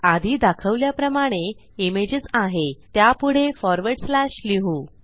आधी दाखवल्याप्रमाणे इमेजेस आहे त्यापुढे फॉरवर्ड स्लॅश लिहू